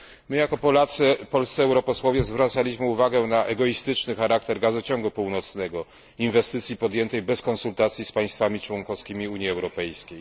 My, jako Polacy, polscy europosłowie, zwracaliśmy uwagę na egoistyczny charakter gazociągu północnego, inwestycji podjętej bez konsultacji z państwami członkowskimi Unii Europejskiej.